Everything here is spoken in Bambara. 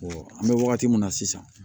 an bɛ wagati min na sisan